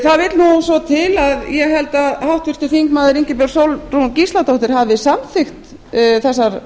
það vill nú svo til ég held að háttvirtur þingmaður ingibjörg sólrún gísladóttir hafi samþykkt þessar